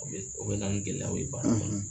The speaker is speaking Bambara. U bɛ u bɛ na ni gɛlɛyaw ye baara